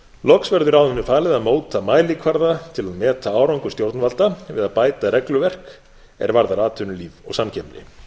loks verður ráðinu falið að móta mælikvarða til að meta árangur stjórnvalda við að bæta regluverk er varðar atvinnulíf og samkeppni